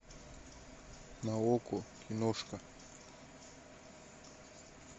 на окко киношка